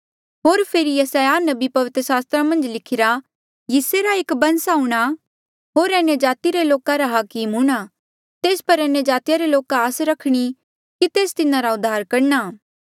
होर फेरी यसायाह नबीये पवित्र सास्त्रा मन्झ लिखिरा यिसै री एक बंस आऊंणा होर अन्यजाति रे लोका रा हाकम हूंणा तेस पर अन्यजाति रे लोका आस रखणी कि तेस तिन्हारा उद्धार करणा